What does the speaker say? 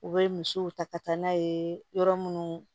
U bɛ misiw ta ka taa n'a ye yɔrɔ minnu